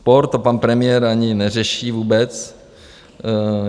Sport - to pan premiér ani neřeší vůbec.